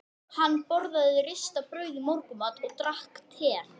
Hann borðaði ristað brauð í morgunmat og drakk te.